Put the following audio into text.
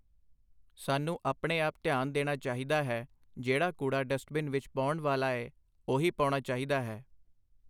ਸਾਨੂੰ ਆਪਣੇ ਆਪ ਧਿਆਨ ਦੇਣਾ ਚਾਹੀਦਾ ਹੈ, ਜਿਹੜਾ ਕੂੜਾ ਡਸਟਬਿਨ ਵਿੱਚ ਪਾਉਣ ਵਾਲ਼ਾ ਏ, ਉਹੀ ਪਾਉਣਾ ਚਾਹੀਦਾ ਹੈ